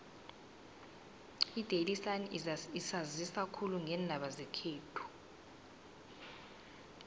idaily sun isanzisa khulu ngeendaba zekhethu